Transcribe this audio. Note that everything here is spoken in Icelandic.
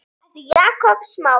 eftir Jakob Smára